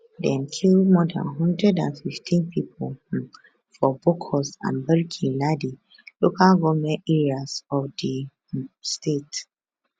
dem kill more dan 115 pipo um for bokkos and barkinladi local goment areas of di um state